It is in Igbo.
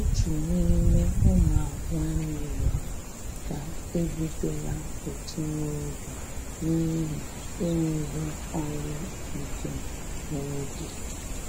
Òtù n'ime ụmụ nwánnè rịọrọ ká e bidola ụtụ n'oge n'ihi enweghị ọrụ nke nwa oge.